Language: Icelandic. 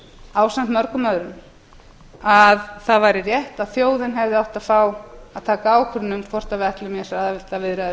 ásamt mörgum öðrum að það væri rétt að þjóðin hefði átt að fá að taka ákvörðun um hvort